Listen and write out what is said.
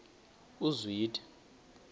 uzwide